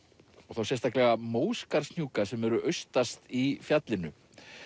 þá sérstaklega Móskarðshnjúka sem eru austast í fjallinu